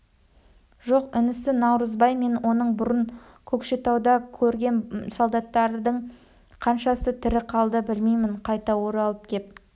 жоқ інісі наурызбай мен оны бұрын көкшетауда көргем солдаттардың қаншасы тірі қалды білмеймін қайта оралып кеп